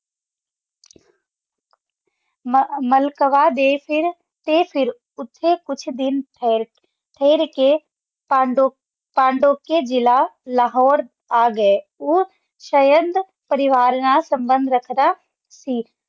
ਮਾਲ੍ਕਾਵਾ ਦੇ ਫੇਰ ਟੀ ਫੇਰ ਓਥੇ ਕੁਛ ਦਿਨ ਠੇਹਰ ਕੇ ਪੰਦੋਚ੍ਯ ਜ਼ਿਲਾ ਲਾਹੋਰੇ ਅਗੇ ਊ ਸ਼ਾਯੰਦ ਪਰਿਵਾਰ ਨਾਲ ਸੰਬੰਦ ਰਖਦਾ ਸੀ